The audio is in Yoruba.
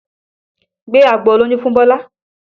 Gbé agbo olóyún fún Bọlá!